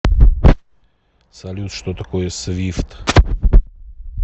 салют что такое свифт